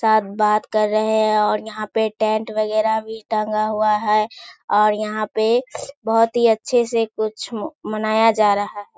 सब बात कर रहे हैं और यहाँ पे टेंट वैगरह भी टंगा हुआ है और यहाँ पे बहुत अच्‍छे से कुछ मनाया जा रहा है।